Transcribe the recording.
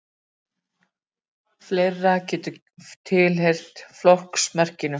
Fleira getur tilheyrt flokksmerkinu.